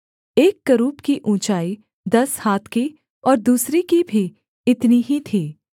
एक करूब की ऊँचाई दस हाथ की और दूसरे की भी इतनी ही थी